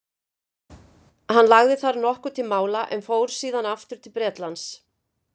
Hann lagði þar nokkuð til mála en fór síðan aftur til Bretlands.